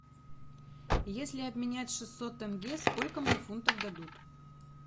если обменять шестьсот тенге сколько мне фунтов дадут